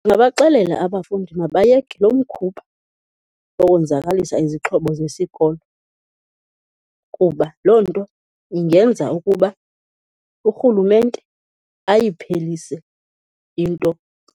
Ndingabaxelela abafundi mabayeke lo mkhuba wokonzakalisa izixhobo zesikolo kuba loo nto ingenza ukuba urhulumente ayiphelise into